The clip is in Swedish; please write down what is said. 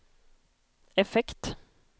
effekt